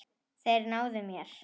Þeir náðu mér.